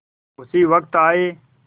उसी वक्त आये